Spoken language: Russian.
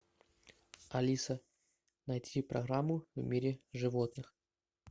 алиса найти программу в мире животных